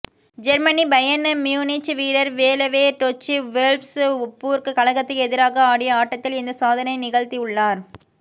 Germany Bayern Munich வீரர் Lewandowski Wolfsburg கழகத்துக்கு எதிராக ஆடிய ஆட்டத்தில் இந்த சாதனையை நிகழ்த்தி உள்ளார்